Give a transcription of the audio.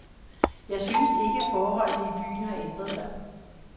Jeg synes ikke, forholdene i byen har ændret sig.